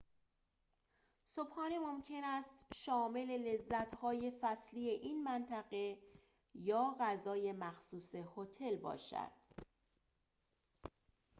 صبحانه ممکن است شامل لذت‌های فصلی این منطقه یا غذای مخصوص هتل باشد